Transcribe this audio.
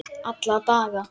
Alla daga.